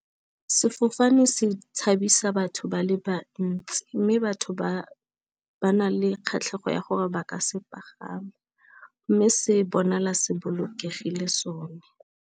Sefofane se tshabisa batho ba le bantsi, mme batho ba na le kgatlhego ya gore ba ka se pagama, mme se bona la se bolokegile sone.